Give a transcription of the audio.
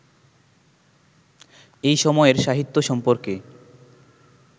এই সময়ের সাহিত্য সম্পর্কে